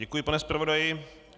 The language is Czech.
Děkuji, pane zpravodaji.